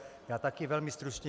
Já také velmi stručně.